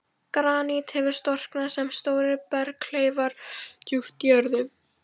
Granít hefur storknað sem stórir berghleifar djúpt í jörðu.